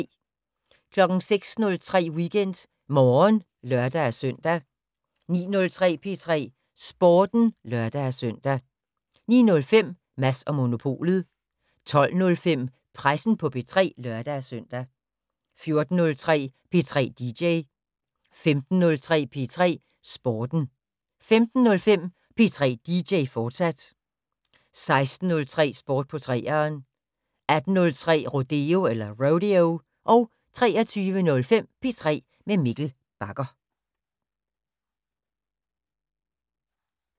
06:03: WeekendMorgen (lør-søn) 09:03: P3 Sporten (lør-søn) 09:05: Mads & Monopolet 12:05: Pressen på P3 (lør-søn) 14:03: P3 dj 15:03: P3 Sporten 15:05: P3 dj, fortsat 16:03: Sport på 3'eren 18:03: Rodeo 23:05: P3 med Mikkel Bagger